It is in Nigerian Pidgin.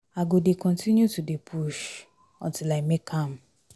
I go dey continue to dey push untill I make am.